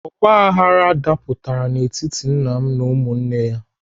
Ọgbaghrara dapụtara n'etiti nna m na ụmụnne ha.